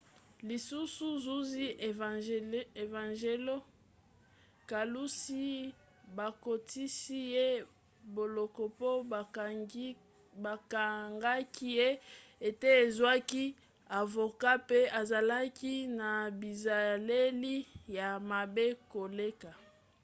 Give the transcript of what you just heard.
lisusu zuzi evangelos kalousis bakotisi ye boloko po bakangaki ye ete azwaki avoka mpe azalaki na bizaleli ya mabe koleka